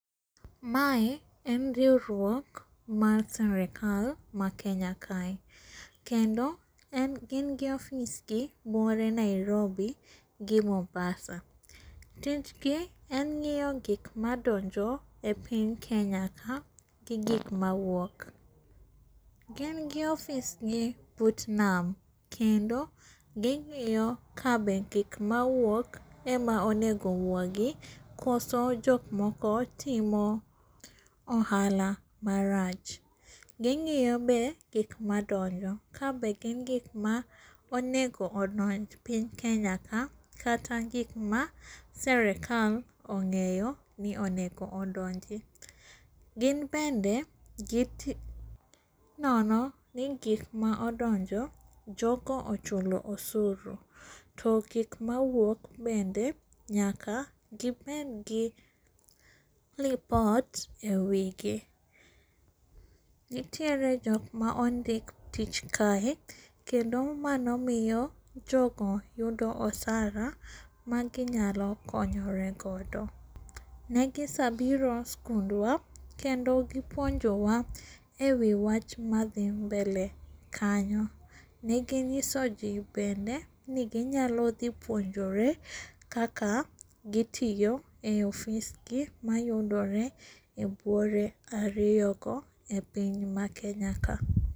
Ma en riwruok mar sirikal ma kenya kae kendo gin gi ofisgi buore Nairobi gi Mombasa. Tichgi en ng'iyo gik madonjo epiny kenya ka gi gik mawuok. Gin gi ofisgi but nam kendo ging'iyo ka be gik mawuok ema onego owuogi koso jok moko timo ohala marach. Gi ngiyo be gik madonjo kabe gin gik ma onego odonj piny Kenya ka kata gik maserikal ong'eyo ni onego odonji. Gin bende ginono ni gik ma odonjo jogo ochulo osuru to gik mawuok bende nyaka gibedgi lipot ewigi. Nitiere jok ma ondik tich kae. Kendo mano miyo jogo yudo osara magi nyalo konyore godo. Negi sabiro eskundwa kendo gi puonjowa ewi wach madhi mbele kanyo ne gi nyisoji bende ni gi nyalo dhi puonjore kaka gitiyo e ofisgi mayudore e buore ariyogo epiny ma Kenya ka.